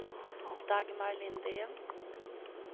Dagmar Lindén